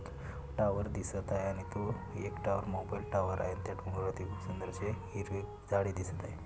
Tower दिसत आहे आणि तो एक टार मोबाईल टावर आहे त्यात डोंगरा वरती हिरवे झाडे दिसत आहे.